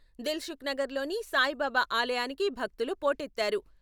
దిల్సుఖ్నగర్లోని సాయిబాబా ఆలయానికి భక్తులు పోటెత్తారు.